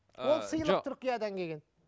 ол сыйлық түркиядан келген